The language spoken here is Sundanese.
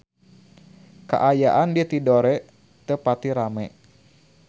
Kaayaan di Tidore teu pati rame